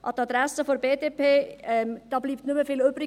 An die Adresse der BDP: Da bleibt nicht mehr viel übrig;